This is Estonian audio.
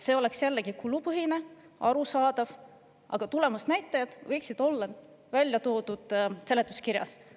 See oleks jällegi kulupõhine, arusaadav, aga tulemusnäitajad võiksid olla ära toodud seletuskirjas.